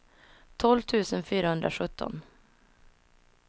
tolv tusen fyrahundrasjutton